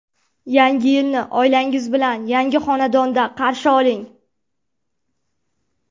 Yangi yilni oilangiz bilan yangi xonadonda qarshi oling!